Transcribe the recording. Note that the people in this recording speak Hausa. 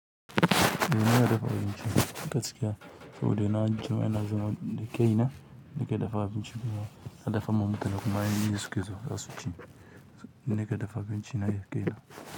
Eh, ni ina dafa abinci gaskiya, saboda na jima ina zama da kai na nake dafa abinci kuma ina dafa ma mutane kuma ina yi in suke so zasu ci. Ni nake dafa abinci na da kaina.